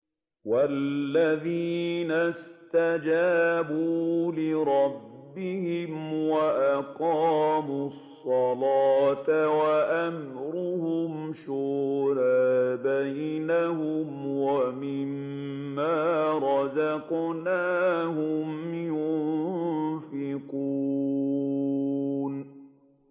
وَالَّذِينَ اسْتَجَابُوا لِرَبِّهِمْ وَأَقَامُوا الصَّلَاةَ وَأَمْرُهُمْ شُورَىٰ بَيْنَهُمْ وَمِمَّا رَزَقْنَاهُمْ يُنفِقُونَ